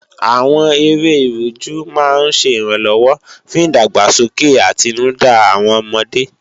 Àwọn eré Ìrújú máa ń ṣẹ ìrànlọ́wọ́ fún ìdàgbàsókè àtinúdá àwọn ọmọdé